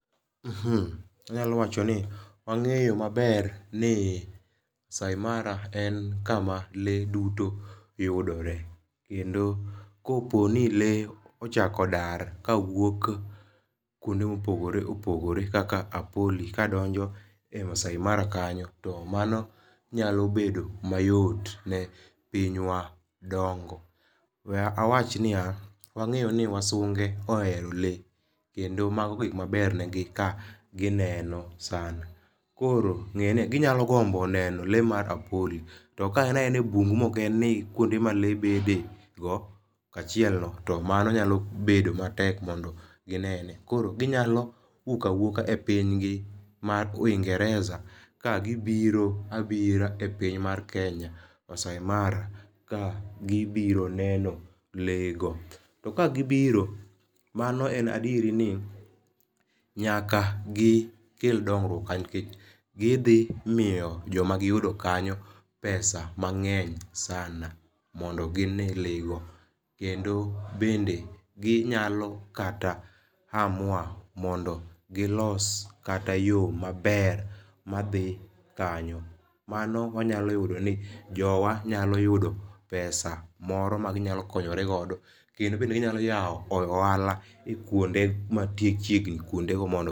Anyalo wacho ni ang'eyo maber ni masai mara en kama lee duto yudore kendo koponi lee ochako dar ka wuok kuonde mopogore opogore kaka apoli kadonjo e masai mara kanyo, to mano nyalo bedo mayot ne pinywa dongo . We awach niya, wang'eyo ni wasunge ohero lee kendo mago gik maber ne gi kagi neno sana .Koro ngeni ginyalo gombo neno lee mar apoli to ka en aena e bungu ma ok en kuonde ma lee bede go kaachiel to mano nyalo bedo matek mondo ginene . Koro ginyalo wuok awuoka e piny gi mar uingereza ka gibira bira e pinywa mar kenya masai mara ka gibiro neno lee go. To ka gibiro mano en adier ni nyaka gikel dongruok nikech gidhi miyo joma giyudo kanyo pesa mang'eny sana mondo gine lego kendo bende ginyalo kata amua mondo gilos kata yoo maber madhi kanyo. Mano wanyalo yudo ni jowa nyalo yudo pesa moro ma ginyalo konyore godo, kendo be ginyalo yawo ohala kuonde mantie kuonde machiegni kuonde go mondo